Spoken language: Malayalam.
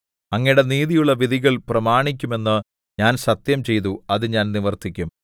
അങ്ങയുടെ നീതിയുള്ള വിധികൾ പ്രമാണിക്കുമെന്ന് ഞാൻ സത്യംചെയ്തു അത് ഞാൻ നിവർത്തിക്കും